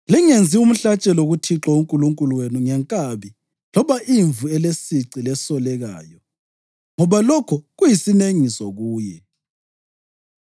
“Lingenzi umhlatshelo kuThixo uNkulunkulu wenu ngenkabi loba imvu elesici lesolekayo, ngoba lokho kuyisinengiso kuye.